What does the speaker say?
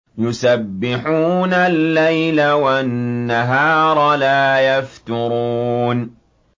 يُسَبِّحُونَ اللَّيْلَ وَالنَّهَارَ لَا يَفْتُرُونَ